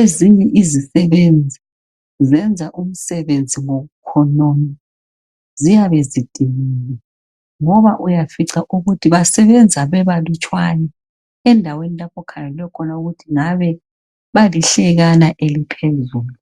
ezinye izisebenzi zenza umsebenzi ngokukhonona ziyabe zidiniwe ngoba uyafica ukuthi basebenza bebalutshwane endaweni okhangelwe khona ukuthi ngabe balihlekana eliphezulu